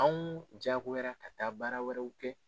Anw jagoyara ka taa baara wɛrɛw kɛ